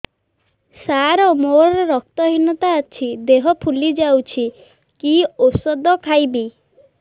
ସାର ମୋର ରକ୍ତ ହିନତା ଅଛି ଦେହ ଫୁଲି ଯାଉଛି କି ଓଷଦ ଖାଇବି